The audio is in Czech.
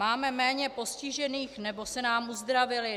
Máme méně postižených, nebo se nám uzdravili?